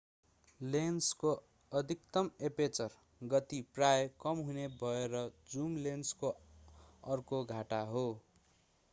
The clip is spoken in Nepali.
लेन्सको अधिकतम एपेचर गति प्रायः कम हुने भएर जुम लेन्सको अर्को घाटा हो।